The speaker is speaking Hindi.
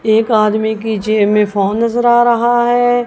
एक आदमी की जेब में फोन नजर आ रहा है।